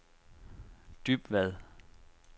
Dybvad